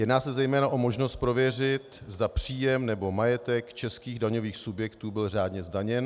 Jedná se zejména o možnost prověřit, zda příjem nebo majetek českých daňových subjektů byl řádně zdaněn.